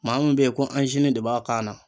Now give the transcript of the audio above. Maa min be ye ko de b'a kan na